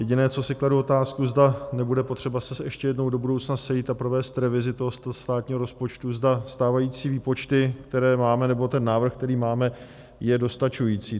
Jediné, co si kladu otázku, zda nebude potřeba se ještě jednou do budoucna sejít a provést revizi tohoto státního rozpočtu, zda stávající výpočty, které máme, nebo ten návrh, který máme, je dostačující.